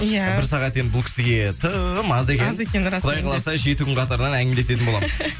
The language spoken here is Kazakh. ия бір сағат енді бұл кісіге тым аз екен аз екен расымен де құдай қаласа жеті күн қатарынан әңгімелесетін боламыз